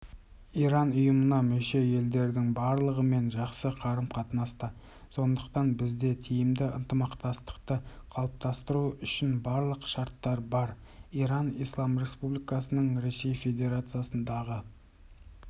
иран ұйымына мүше елдердің барлығымен жақсы қарым-қатынаста сондықтан бізде тиімді ынтымақтастықты қалыптастыру үшін барлық шарттар бар иран ислам республикасының ресей федерациясындағы